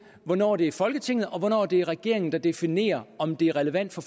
hvornår det er folketinget og hvornår det er regeringen der definerer om det er relevant for